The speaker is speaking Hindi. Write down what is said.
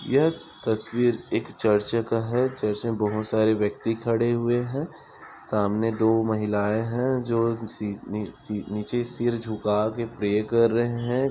यह तस्वीर एक चर्च का है चर्च मे बहुत सारे व्यक्ति खड़े हुए है सामने दो महिलाए है जो नीचे सिर झुका के प्रे कर रहे हैं।